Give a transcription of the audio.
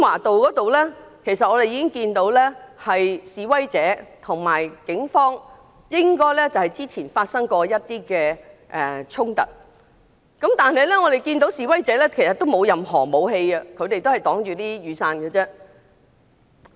到達時我們看到示威者和警方較早前發生過一些衝突，但不見示威者有任何武器，他們只是用雨傘作遮擋。